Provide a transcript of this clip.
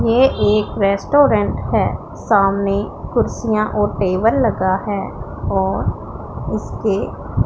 ये एक रेस्टोरेंट है सामने कुर्सियां और टेबल लगा है और इसके--